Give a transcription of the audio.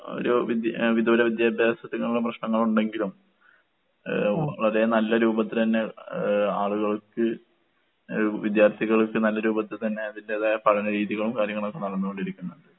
ഒരു വിദ് ഏഹ് വിദൂര വിദ്യാഭ്യാസത്തിനൊള്ള പ്രശ്നങ്ങളൊണ്ടെങ്കിലും ഏഹ് അതേ നല്ല രൂപത്തിലന്നെ ഏഹ് ആളുകൾക്ക് ഏഹ് വിദ്യാർഥികൾക്ക് നല്ല രൂപത്ത്ത്തന്നെ അതിന്റേതായ പഠന രീതികളും കാര്യങ്ങളൊക്കെ നടന്ന് കൊണ്ടിരിക്ക്ന്ന്ണ്ട്.